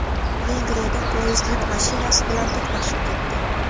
Vengriyada poyezd yuk mashinasi bilan to‘qnashib ketdi.